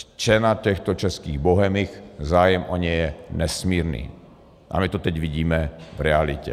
Cena těchto českých bohemik, zájem o ně je nesmírný a my to teď vidíme v realitě.